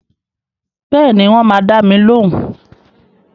Bẹ́ẹ̀ni, wọ́n máa dá mi lóhùn